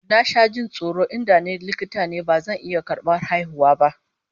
Na sha jin tsoron in da ni likita ne da bazan iya karbar haihuwa ba